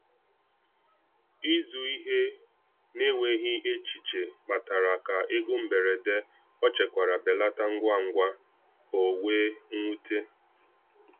Ịzụ ihe n’enweghị echiche kpatara ka ego mberede ọ chekwara belata ngwa ngwa, o wee nwute.